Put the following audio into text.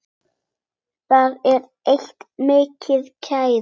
Það er eitt, minn kæri.